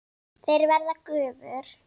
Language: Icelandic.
Þeir verða gufur.